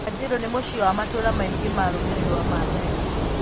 Kajiado nĩ mũciĩ wa matũra maingĩ ma rũrĩrĩ rwa Maathai.